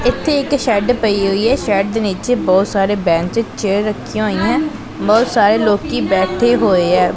ਇੱਥੇ ਇੱਕ ਸ਼ੈਡ ਪਈ ਹੋਈ ਹ ਸ਼ੈਡ ਦੇ ਨੀਚੇ ਬਹੁਤ ਸਾਰੇ ਬੈਂਚ ਚੇਅਰ ਰੱਖੀਆਂ ਹੋਈਆਂ ਬਹੁਤ ਸਾਰੇ ਲੋਕੀ ਬੈਠੇ ਹੋਏ ਐ।